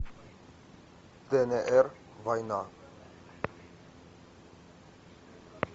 днр война